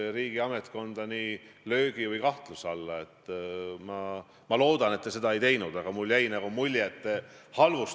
Ma ei räägi rahvusvahelisest mainekahjust ega sellest, et me muutume selles rahvusvahelises organisatsioonis suure tõenäosusega rünnatavaks.